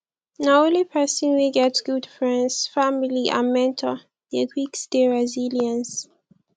na only pesin wey get good friends family and mentor dey quick stay resilience